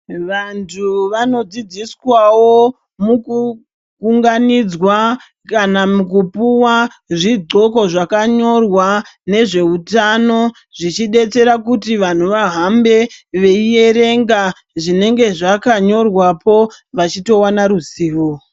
Vantu vanodzidziswawo mukuunganidzwa kana mukupuwa zvidxoko zvakanyorwa nezveutano zvichidetsera kuti vantu vahambe veierenga zvinenge zvakanyorwapo vantu veitowana ruzivo.